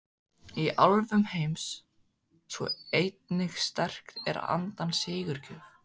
Í álfum heims sú eining sterk er andans sigurgjöf.